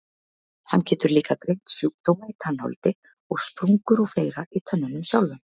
Hann getur líka greint sjúkdóma í tannholdi og sprungur og fleira í tönnunum sjálfum.